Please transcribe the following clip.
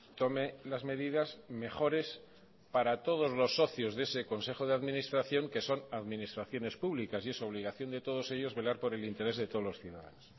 tome las medidas mejores para todos los socios de ese consejo de administración que son administraciones públicas y es obligación de todos ellos velar por el interés de todos los ciudadanos